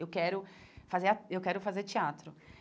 Eu quero fazer ah eu quero teatro.